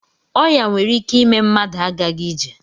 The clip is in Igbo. Ọya nwere ike ime mmadụ agaghi ije.